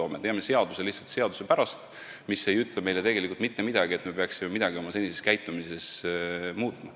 Me teeme seaduse lihtsalt seaduse pärast, mis ei ütle meile tegelikult, et me peaksime midagi oma senises käitumises muutma.